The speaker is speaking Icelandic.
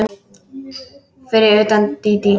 Fyrir utan Dídí.